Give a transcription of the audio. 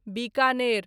Bikaner